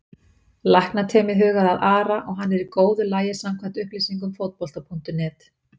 Læknateymið hugaði að Ara og hann er í góðu lagi samkvæmt upplýsingum Fótbolta.net.